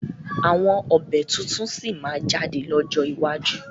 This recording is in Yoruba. Àwọn ọbẹ̀ tuntun sí máa jáde lọ́jọ́ iwájú